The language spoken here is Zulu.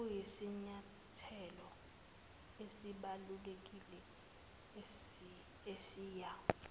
kuyisinyathelo esibalulekile esiya